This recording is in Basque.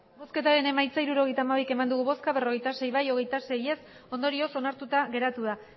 emandako botoak hirurogeita hamabi bai berrogeita sei ez hogeita sei ondorioz onartuta geratu da